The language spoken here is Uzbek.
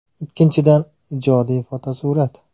Ikkinchidan, ijodiy fotosurat.